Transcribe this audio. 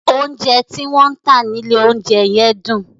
Oúnjẹ tí wọ́n ń tà nílé oúnjẹ yẹn dùn.